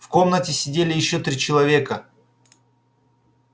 в комнате сидели ещё три человека